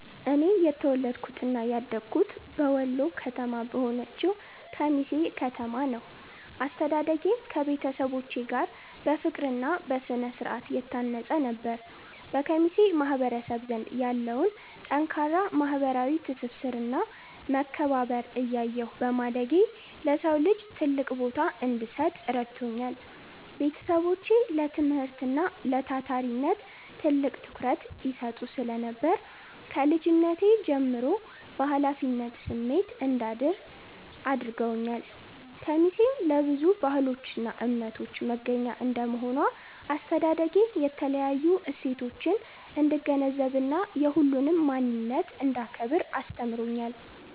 እኔ የተወለድኩትና ያደግኩት በወሎ ከተማ በሆነችው ኬሚሴ ከተማ ነው። አስተዳደጌም ከቤተሰቦቼ ጋር በፍቅርና በስነ-ስርዓት የታነጸ ነበር። በኬሚሴ ማህበረሰብ ዘንድ ያለውን ጠንካራ ማህበራዊ ትስስርና መከባበር እያየሁ በማደጌ፣ ለሰው ልጅ ትልቅ ቦታ እንድሰጥ ረድቶኛል። ቤተሰቦቼ ለትምህርትና ለታታሪነት ትልቅ ትኩረት ይሰጡ ስለነበር፣ ከልጅነቴ ጀምሮ በኃላፊነት ስሜት እንዳድግ አድርገውኛል። ኬሚሴ ለብዙ ባህሎችና እምነቶች መገናኛ እንደመሆኗ፣ አስተዳደጌ የተለያዩ እሴቶችን እንድገነዘብና የሁሉንም ማንነት እንዳከብር አስተምሮኛል።